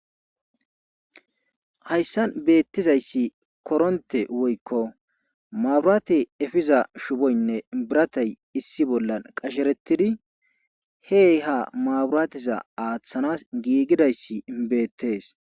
Hayssan beetizayssi korontte woykko mabirate efiza shufoyyne biratay issi bolla qasheretidi he ha mabirateza aatanas giigidayssi beetees.